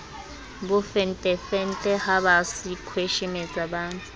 bofentefente ha ba sekhweshemetsa ba